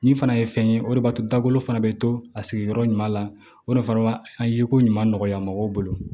Min fana ye fɛn ye o de b'a to dakolo fana bɛ to a sigiyɔrɔ ɲuman na o de fana b'a a ye ko ɲuman nɔgɔya mɔgɔw bolo